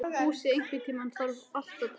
Fúsi, einhvern tímann þarf allt að taka enda.